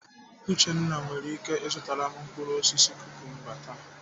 Uchenna nwere ike ịzụtara m mkpụrụ osisi kukumba taa.